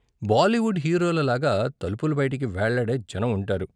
బాలీవుడ్ హీరోల లాగా తలుపుల బయటికి వేళ్ళాడే జనం ఉంటారు.